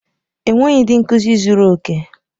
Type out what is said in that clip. Enweghị ndị nkuzi zuru oke.